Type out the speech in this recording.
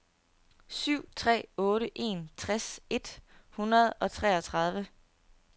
syv tre otte en tres et hundrede og treogtredive